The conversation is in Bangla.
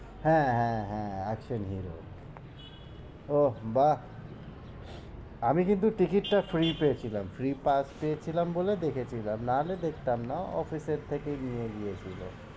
হ্যাঁ, হ্যাঁ, হ্যাঁ action hero ওহ বাহ্ আমি কিন্তু ticket টা free পেয়েছিলাম free pass পেয়েছিলাম বলে দেখছিলাম না হলে দেখতাম না office এর থেকে নিয়ে গিয়েছিল,